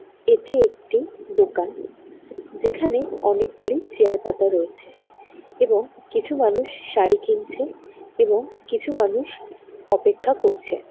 এটি একটি দোকান যেখানে অনেকগুলি চেয়ার পাতা রয়েছে এবং কিছু মানুষ শাড়ি কিনছে এবং কিছু মানুষ অপেক্ষা করছে।